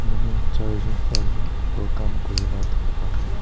manu charjun panchjun opor kam kuri na dikhi pai ase.